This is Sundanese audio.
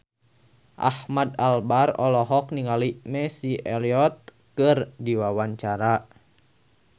Ahmad Albar olohok ningali Missy Elliott keur diwawancara